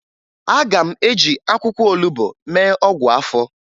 Aga m eji akwụkwọ olubo mee ọgwụ afọ